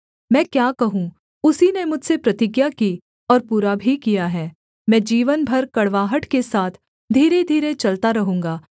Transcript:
मैं क्या कहूँ उसी ने मुझसे प्रतिज्ञा की और पूरा भी किया है मैं जीवन भर कड़वाहट के साथ धीरे धीरे चलता रहूँगा